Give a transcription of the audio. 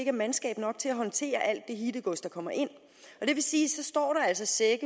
er mandskab nok til at håndtere alt det hittegods der kommer ind og det vil sige at så står der altså sække